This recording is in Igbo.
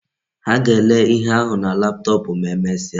Ha ga-ele ihe ahu na laptop ma emesia